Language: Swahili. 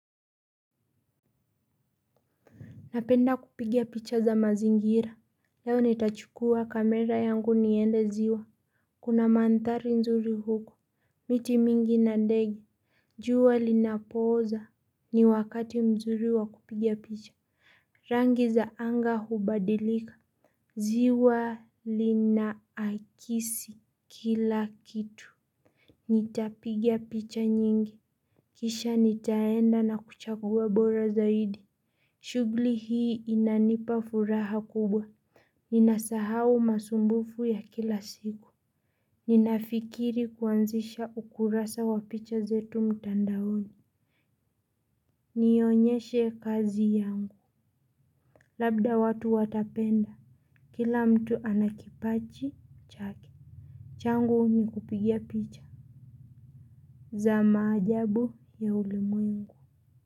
Napenda kupiga picha za mazingira. Leo nitachukua kamera yangu niende ziwa. Kuna mandhari nzuri huku. Miti mingi na ndege. Jua linapooza. Ni wakati mzuri wa kupiga picha. Rangi za anga hubadilika. Jiwa linaakisi kila kitu. Nitapigia picha nyingi. Kisha nitaenda na kuchagua bora zaidi. Shughli hii inanipa furaha kubwa. Ninasahau masumbufu ya kila siku. Ninafikiri kuanzisha ukurasa wa picha zetu mtandaoni. Nionyeshe kazi yangu. Labda watu watapenda. Kila mtu ana kipaji chake. Changu ni kupigia picha. Za maajabu ya ulimwengu.